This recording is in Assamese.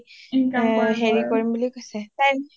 হেৰি কৰিম বুলি কৈছে